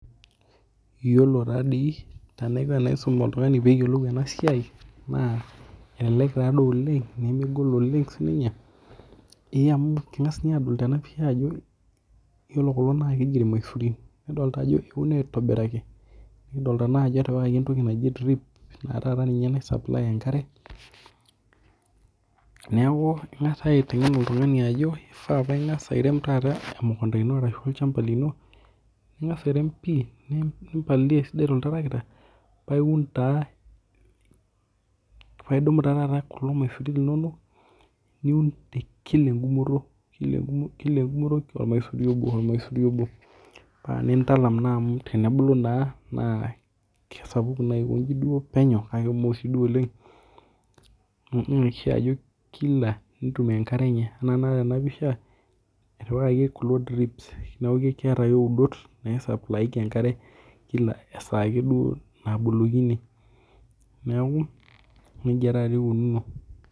Iyiolo taadii enaiko tenaisum oltung'ani pee eyolou ena siai. Elelek taadoi oleng' nemegol oleng' sii ninye ee amu kingas ninye adol tena pisha ajo iyiolo kulo naa keji irmslazurin nidolita ajo euno aitobiraki nikidolita ajo etipikaki entoki naji drip enaa tataa ninye nai supply enkare neeku ing'as naa aiteng'en oltung'ani ajo keifaa na ing'as airem taata emukunta ino olchamba lino ning'as airem pii ni palilia esidai too litarkita paa iun taa paa idumu taa tata kulo maisurin linono niun te kila egumo kila egumoto ormasuri obo ormasuri obl paa intalama naa amu tenebulu naa kesapuku naa penyo nemekumok sii duo oleng' amuu kishaa nitumuia enkare enye nea tenakata tena pisha etipakaki kulo drips neeku keeta ake udot nai supply aikei enkare kila esaa ake duo nabolokini neeku neijaa taa tata ikununo.